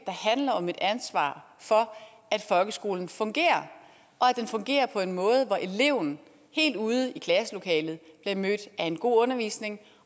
handler om et ansvar for at folkeskolen fungerer og at den fungerer på en måde så eleven helt ude i klasselokalet bliver mødt af en god undervisning